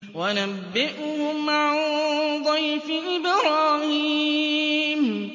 وَنَبِّئْهُمْ عَن ضَيْفِ إِبْرَاهِيمَ